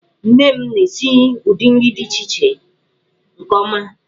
Nne m na-esi ụdị nri dị iche iche nke ọma.